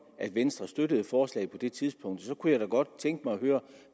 at venstre støttede forslaget på det tidspunkt for så kunne jeg da godt tænke mig at høre